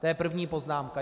To je první poznámka.